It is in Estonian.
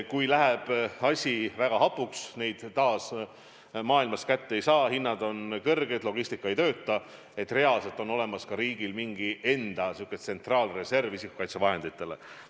Kui läheb asi väga hapuks, neid vahendeid taas maailmast kätte ei saa, hinnad on kõrged, logistika ei tööta, siis reaalselt on olemas ka riigil mingi enda isikukaitsevahendite reserv.